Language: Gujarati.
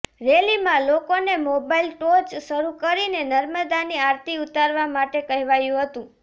રેલીમાં લોકોને મોબાઈલ ટોર્ચ શરૂ કરીને નર્મદાની આરતી ઉતારવા માટે કહેવાયું હતું